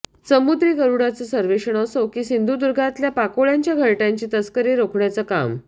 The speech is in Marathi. समुद्री गरुडाचं सर्वेक्षण असो की सिंधुदुर्गातल्या पाकोळ्यांच्या घरट्यांची तस्करी रोखण्याचं काम